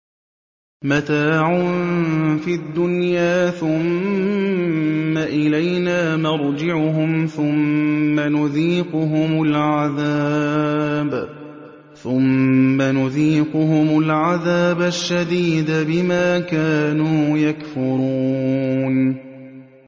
مَتَاعٌ فِي الدُّنْيَا ثُمَّ إِلَيْنَا مَرْجِعُهُمْ ثُمَّ نُذِيقُهُمُ الْعَذَابَ الشَّدِيدَ بِمَا كَانُوا يَكْفُرُونَ